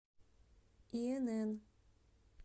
инн